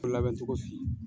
labɛn cogo f'i ye.